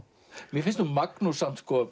mér finnst nú Magnús